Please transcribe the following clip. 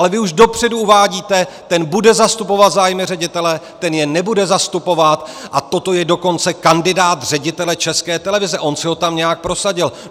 Ale vy už dopředu uvádíte: ten bude zastupovat zájmy ředitele, ten je nebude zastupovat, a toto je dokonce kandidát ředitele České televize, on si ho tam nějak prosadil.